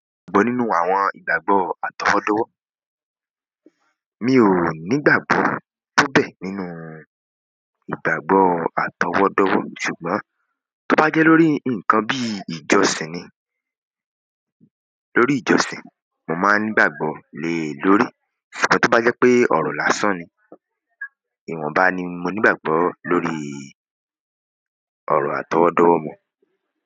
Gbó nínú àwọn ìgbàgbọ́ àtọwọ́dọ́wọ́. Mi ò nígbàgbọ́ tó bẹ́ nínú ìgbàgbọ́ àtọwọ́dọ́wọ́ ṣùgbọ́n tó bá jẹ́ lórí nǹkan bí i ìjọsìn ni, lórí ìjọsìn, mo máa nígbàgbọ́ lé lórí. Ṣùgbọ́n tó bá jẹ́ pé ọ̀rọ̀ lásán ni, ìwọ̀nba ni mo nígbàgbọ́ lórí ọ̀rọ̀ àtọwọ́dọ́wọ́ mọ.